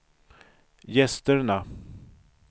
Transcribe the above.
gästerna